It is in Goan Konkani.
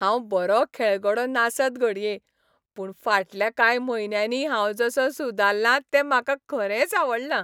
हांव बरो खेळगडो नासत घडये पूण फाटल्या कांय म्हयन्यांनी हांव जसो सुदारलां तें म्हाका खरेंच आवडलां.